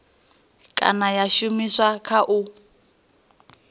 kana ya shumiswa kha u